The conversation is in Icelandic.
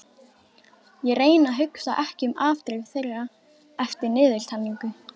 Ég reyni að hugsa ekki um afdrif þeirra eftir niðurtalningu.